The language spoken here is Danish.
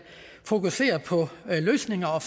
fokusere på løsninger og